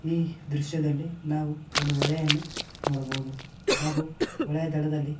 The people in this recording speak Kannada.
ಈ ದೃಶ್ಯದಲ್ಲಿ ನಾವು ಒಂದು ಹೊಳೆಯನ್ನು ನೋಡಬಹುದು ಹಾಗೂ ಹೊಳೆಯ ದಡದಲ್ಲಿ--